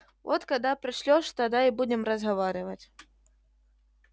вот когда пошлёшь тогда и будем разговаривать